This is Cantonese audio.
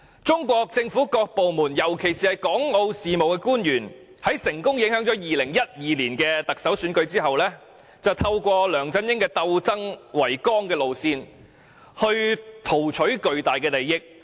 中國政府各部門，尤其是港澳事務官員，在成功影響2012年特首選舉後，便透過梁振英以鬥爭為綱的路線，圖取巨大利益。